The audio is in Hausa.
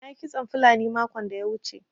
Na yi kitson fulani makon da ya wuce.